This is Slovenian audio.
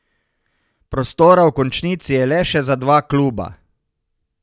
Prostora v končnici je le še za dva kluba.